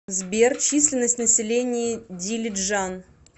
сбер численность населения дилиджан